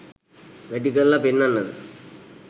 වැඩි කරල පෙන්නන්නද